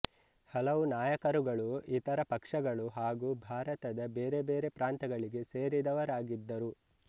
ಹಲವು ನಾಯಕರುಗಳು ಇತರ ಪಕ್ಷಗಳು ಹಾಗು ಭಾರತದ ಬೇರೆ ಬೇರೆ ಪ್ರಾಂತಗಳಿಗೆ ಸೇರಿದವರಾಗಿದ್ದರು